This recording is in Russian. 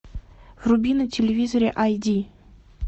вруби на телевизоре ай ди